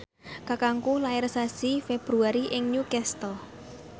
kakangku lair sasi Februari ing Newcastle